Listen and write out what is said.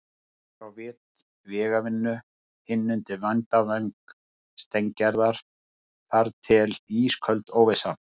Annar á vit vegavinnu, hinn undir verndarvæng Steingerðar- þar til ísköld óvissan.